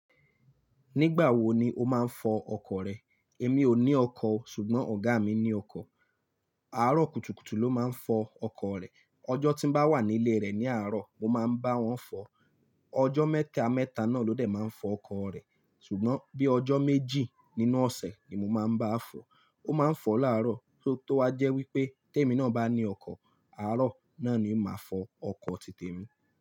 Nígbà wo ni o máa ń fọ ọkọ̀ rẹ? Èmi ò ní ọkọ̀ o, ṣùgbọ́n ọ̀gá mi ní ọkọ̀. Àárọ̀ kùtùkùtù ló máa ń fọ ọkọ̀ rẹ̀. Ọjọ́ tí n bá wà nílé rẹ̀ ní àárọ̀, mo máa ń bá wọn fọ. Ọjọ́ mẹ́ta mẹ́ta náà ló dẹ̀ máa ń fọ ọkọ̀ rẹ̀, ṣùgbọ́n bí ọjọ́ méjì nínú ọ̀sẹ̀ ni mo máa ń bá a fọ. Ó máa ń fọ láàárọ̀, tó wá jẹ́ wípé tẹmi náà bá ní ọkọ̀, àárọ̀ náà ni màá fọ ọkọ̀ ti Tẹmi.